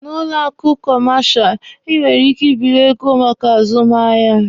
Na kọmashal ụlọ akụ, Ị nwere ike ịbịrị ego maka azụmahịa.